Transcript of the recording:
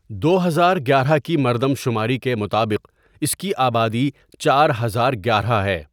دو ہزار گیارہ کی مردم شماری کے مطابق اس کی آبادی چار ہزار گیارہ ہے۔